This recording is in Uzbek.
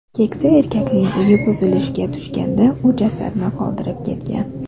Keksa erkakning uyi buzilishga tushganda, u jasadni qoldirib ketgan.